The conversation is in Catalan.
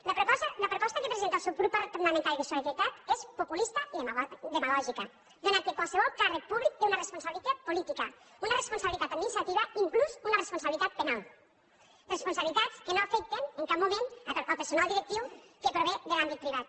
la proposta que presenta el subgrup parlamentari de solidaritat és populista i demagògica atès que qualsevol càrrec públic té una responsabilitat política una responsabilitat administrativa inclús una responsabilitat penal responsabilitats que no afecten en cap moment el personal directiu que prové de l’àmbit privat